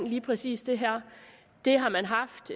lige præcis det her det har man haft